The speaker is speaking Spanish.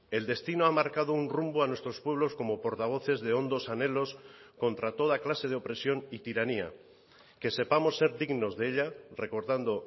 el destino ha marcado un rumbo a nuestros pueblos como portavoces de hondos anhelos contra toda clase de opresión y tiranía que sepamos ser dignos de ella recordando